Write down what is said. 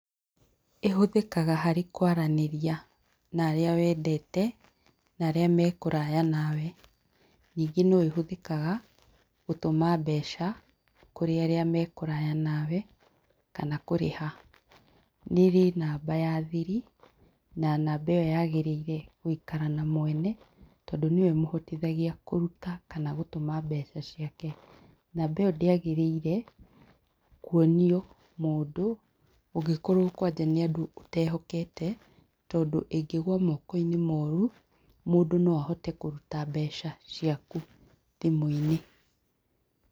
Ĩhũthĩkaga harĩ kwaranĩria na arĩa wendete na arĩa me kũraya nawe. Ningĩ no ĩhũthĩkaga gũtũma mbeca kũrĩ arĩa me kũraya nawe kana kũrĩha. Nĩ ĩrĩ namba ya thiri na namba ĩyo yagĩrĩire gũikara na mwene tondũ nĩyo ĩmũhotithagia kũrũta kana gũtũma mbeca ciake namba ĩyo ndĩagĩrĩire kuonio mũndũ ũngĩkorwo kwanja nĩ andũ ũtehokete tondũ ĩngĩgwa mokoinĩ moru mũndũ no ahote kũruta mbeca ciaku thimũ-inĩ.